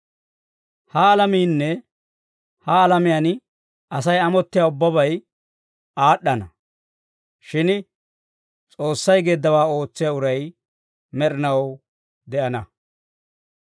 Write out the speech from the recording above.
Ha alamiinne ha alamiyaan Asay amottiyaa ubbabay aad'd'ana. Shin S'oossay geeddawaa ootsiyaa uray med'inaw de'ana.